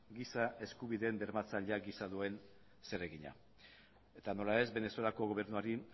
giza eskubideen bermatzaile gisa duen zeregina eta nola ez venezuelako gobernuari